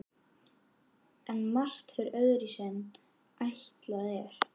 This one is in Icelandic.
En margt fer öðruvísi en ætlað er.